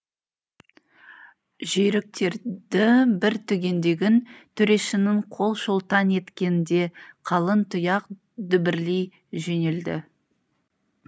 жүйріктерді бір түгендегін төрешінің қол шолтаң еткенде қалың тұяқ дүбірлей жөнелді